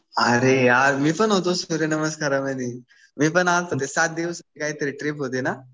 अरे यार मी पण होतो सूर्यनमस्कारमध्ये. मी पण आलतो ना. सात दिवस काहीतरी ट्रिप होती ना.